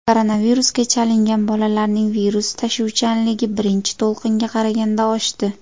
Koronavirusga chalingan bolalarning virus tashuvchanligi birinchi to‘lqinga qaraganda oshdi.